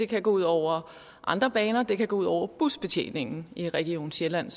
kan gå ud over andre baner og at det kan gå ud over busbetjeningen i region sjælland